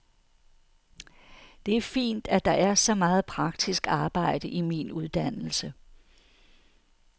Det er fint, at der er så meget praktisk arbejde i min uddannelse.